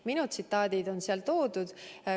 Minu tsitaadid on seal muud.